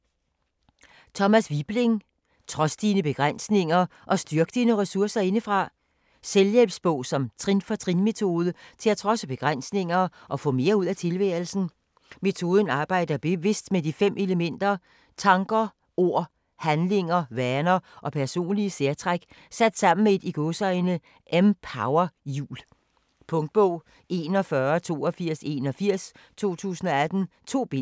Wibling, Thomas: Trods dine begrænsninger og styrk dine ressourcer indefra Selvhjælpsbog med trin-for-trin metode til at trodse begrænsninger og få mere ud af tilværelsen. Metoden arbejder bevidst med de 5 elementer: tanker, ord, handlinger, vaner og personlige særtræk sat sammen i et "empowerhjul". Punktbog 418281 2018. 2 bind.